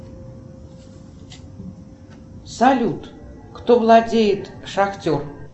салют кто владеет шахтер